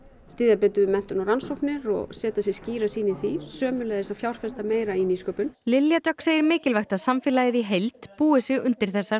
styðja betur við menntun og rannsóknir og setja sér skýra sýn í því sömuleiðis að fjárfesta meira í nýsköpun Lilja Dögg segir mikilvægt að samfélagið í heild búi sig undir þessar